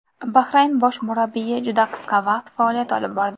Bahrayn bosh murabbiyi juda qisqa vaqt faoliyat olib bordi.